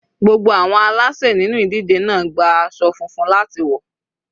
Gbogbo àwọn aláṣè nínú ìdíje náà gba aṣọ funfun láti wọ̀.